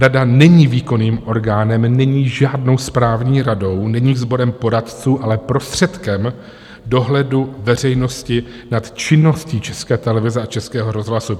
Rada není výkonným orgánem, není žádnou správní radou, není sborem poradců, ale prostředkem dohledu veřejnosti nad činností České televize a Českého rozhlasu.